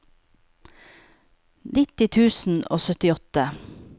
nitti tusen og syttiåtte